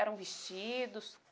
Eram vestidos?